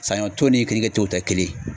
Saɲɔ tɔ ni kenike to tɛ kelen ye.